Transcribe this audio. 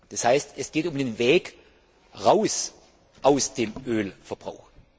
Das heißt, es geht um den Weg raus aus dem Ölverbrauch.